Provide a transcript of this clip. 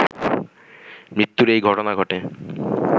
মৃত্যুর এই ঘটনা ঘটে